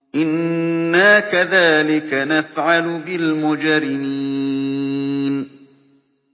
إِنَّا كَذَٰلِكَ نَفْعَلُ بِالْمُجْرِمِينَ